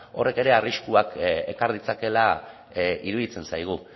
horrek ere arriskuak ekar ditzakela iruditzen zaigu